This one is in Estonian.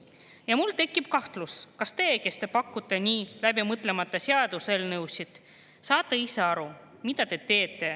Ja mul tekib kahtlus, kas teie, kes te pakute nii läbimõtlemata seaduseelnõusid, ise saate üldse aru, mida te teete.